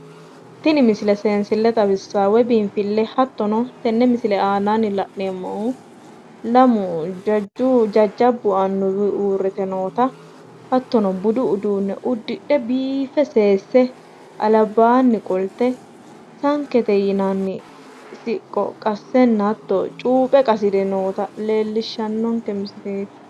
Tini misile seensille xawissawo woyi biinfile hattono tenne misille aannaanni la'neemohu lamu jajjabu anuwu uurite nootta hatono budu uduune udidhe biife seese albaanni qolte sankete yinnanni siqqo qasenna hato cuuphe gasire noota leellishshanonke misileeti.